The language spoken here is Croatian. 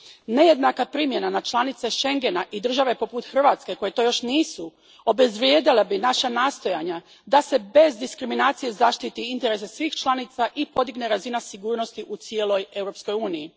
Nejednaka primjena na članice Schengena i države poput Hrvatske, koje to još nisu, obezvrijedila bi naša nastojanja da se bez diskriminacije zaštite interesi svih članica i podigne razina sigurnosti u cijeloj Europskoj uniji.